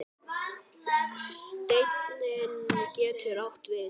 Steinn getur átt við